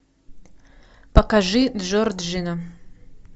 покажи джорджина